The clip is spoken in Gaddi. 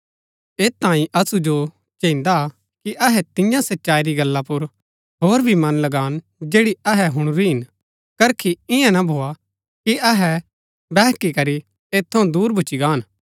ऐत तांई असु जो चैहिन्दा कि अहै तियां सच्चाई री गल्ला पुर होर भी मन लगान जैड़ी अहै हुणुरी हिन करकी इआं ना भोआ कि अहै बैहकी करी ऐत थऊँ दूर भूच्ची गाहन